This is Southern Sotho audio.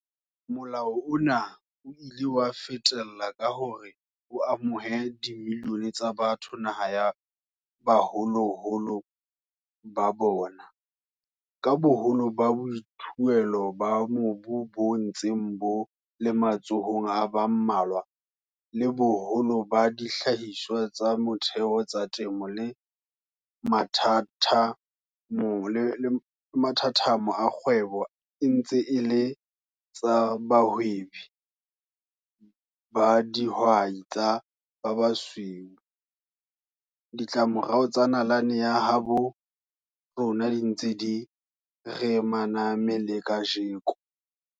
Molao ona o ile wa fetella ka hore o amohe dimilione tsa batho naha ya baholoholo ba bona. Ka boholo ba boithuelo ba mobu bo ntseng bo le matsohong a ba mmalwa, le boholo ba dihlahiswa tsa motheo tsa temo le mathathamo a kgwebo e ntse e le tsa bahwebi ba dihwai tsa ba basweu, ditlamorao tsa nalane ya habo rona di ntse di re maname le kajeno.